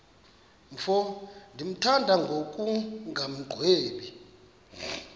mfo ndimthanda ngokungagwebi